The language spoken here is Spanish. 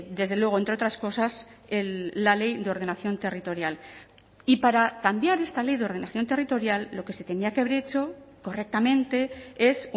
desde luego entre otras cosas la ley de ordenación territorial y para cambiar esta ley de ordenación territorial lo que se tenía que haber hecho correctamente es